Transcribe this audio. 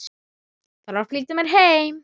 Þarf að flýta mér heim.